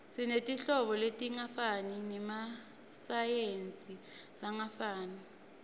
sinetinhlobo letingafani nemasayizi langafani